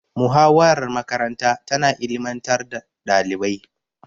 Muhawarar makaranta tana ilimantar da ɗalibai.